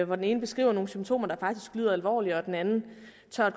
den ene beskriver nogle symptomer der faktisk lyder alvorlige og den anden